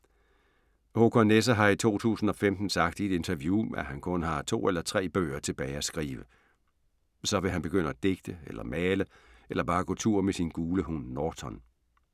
Håkan Nesser har i 2015 sagt i et interview, at han kun har to eller tre bøger tilbage at skrive. Så vil han begynde at digte eller male eller bare gå tur med sin gule hund Norton.